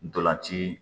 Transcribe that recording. Ntolan ci